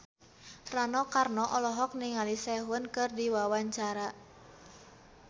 Rano Karno olohok ningali Sehun keur diwawancara